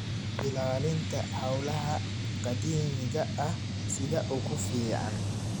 Ilaalinta Hawlaha Qadiimiga ah sida ugu fiican.